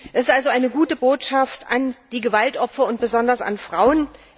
Es ist also eine gute Botschaft an die Gewaltopfer und besonders an Frauen.